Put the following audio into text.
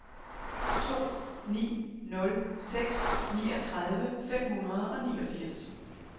to ni nul seks niogtredive fem hundrede og niogfirs